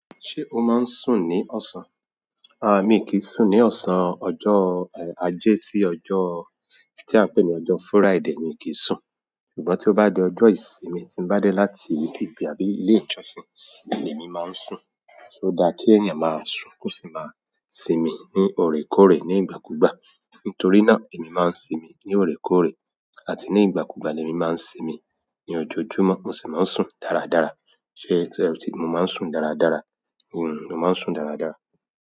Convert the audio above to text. Ṣé o máa ń sùn ní ọ̀sán? À, mi kì í sùn ní ọ̀sán, ọjọ́, eh, ajé sí ọjọ́ tí a ń pè ní ọjọ́ Friday mi kì í sùn. Ṣùgbọ́n tí ó bá di ọjọ́ ìsinmi tí mo bá dé láti ibi àbí ilé ìjọsìn, ni èmi máa ń sùn. O da kí èèyàn máa sùn kó sì máa sinmi ní oorẹ̀ kóòrè ní ìgbà kúgbà. Nítorí náà èmi máa ń sinmi ní ọ̀rẹ́ kóòrè àti ní ìgbà kúgbà ni èmi máa ń sinmi. Ni ọjọ́ọjúmọ́ mo sì máa ń sùn dáradára. Ṣé mo máa ń sùn dáradára? Hmm, mo máa ń sùn dáradára.